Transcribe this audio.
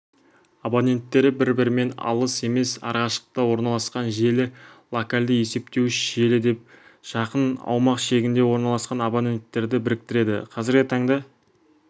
абоненттері бір-бірінен алыс емес арақашықтықта орналасқан желі локалды есептеуіш желі деп жақын аумақ шегінде орналасқан абоненттерді біріктіреді қазіргі таңда